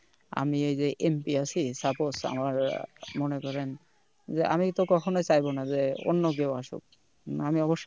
আমি এই যে MP আছি suppose আমার আহ মনে করেন যে আমি তো কখনো চাইবো না যে অন্য কেউ আসুক, আমি অবশ্যই